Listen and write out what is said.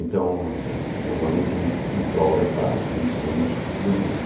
Então, é uma luta em em prol da paz, de ensinos do Buda.